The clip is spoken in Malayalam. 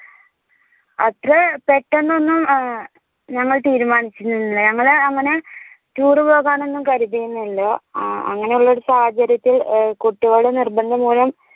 അത്ര പെട്ടന്നൊന്നും അഹ് ഞങ്ങൾ തീരുമാനിച്ചില്ല ഞങ്ങള് അങ്ങനെ tour പോകാനൊന്നും കരുതിയിരുന്നില്ല അഹ് അങ്ങനെയുള്ള ഒരു സാഹചര്യത്തിൽ ഏർ കുട്ടികളുടെ നിർബന്ധം മൂലം